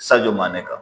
Sajo man ne kan